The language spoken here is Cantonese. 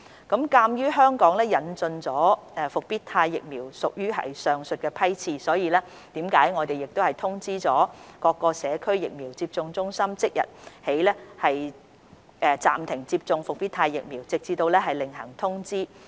鑒於香港引進的復必泰疫苗屬於上述批次，我們已通知各社區疫苗接種中心即日起暫停接種復必泰疫苗，直至另行通知。